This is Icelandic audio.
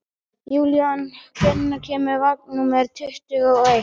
Júlían, hvenær kemur vagn númer tuttugu og eitt?